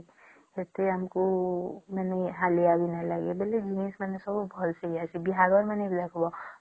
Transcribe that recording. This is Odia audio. ସେଡଥି ଆମକୁ ଏତେ ହାଲିଆ ବି ନାଇଁ ଲାଗେ ବୋଲି ସେମାନେ ସବୁ ଭଲ ପାଇଯାଇସି ବାହାରେ ମାନେ ବି ଦେଖିବା